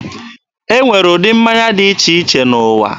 E nwere ụdị mmanya dị iche iche n'ụwa.